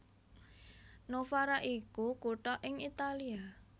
Novara iku kutha ing Italia